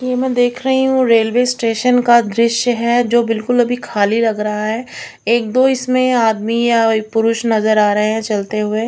ये मैं देख रही हूं रेलवे स्टेशन का दृश्य है जो बिल्कुल अभी खाली लग रहा है एक दो इसमें आदमी या पुरुष नजर आ रहे हैं चलते हुए।